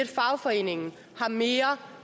fagforeningen har mere